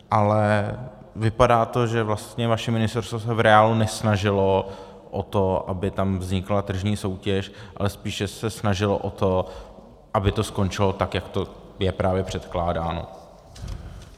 Ale vypadá to, že vlastně vaše ministerstvo se v reálu nesnažilo o to, aby tam vznikla tržní soutěž, ale spíše se snažilo o to, aby to skončilo tak, jak to je právě předkládáno.